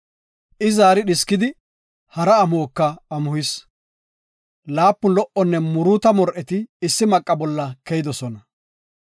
I zaari dhiskidi, hara amuhoka amuhis. Laapun lo77onne muruuta mor7eti issi maqa bolla keyidosona.